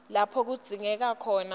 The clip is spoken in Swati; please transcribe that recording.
lapho kudzingeka khona